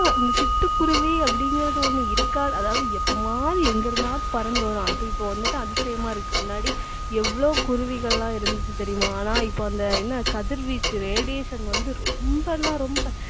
இந்த சிட்டுக்குருவி அப்படிங்கறது ஒண்ணு இருக்கா அதாவது எப்பவாவது எங்க இருந்தாவது பறந்து வரும் அது இப்ப வந்துட்டு அதிசயமா இருக்கு முன்னாடி எவ்வளவு குருவிகள்லாம் இருந்துச்சு தெரியுமா ஆனா இப்ப அந்த என்ன கதிர்வீச்சு radiation வந்து ரொம்பன்னா ரொம்ப